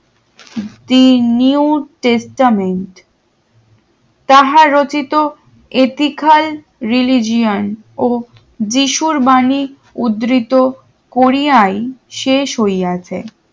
the new chestament তাহার রচিত এটি খাল riligion যীশুর বাণী উদৃত কোরিয়ায় শেষ হইয়াছে